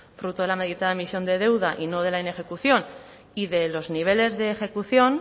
fruto de la meditada emisión de deuda y no de la inejecución y de los niveles de ejecución